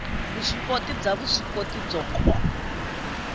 vuswikoti bya vuswikoti byo ka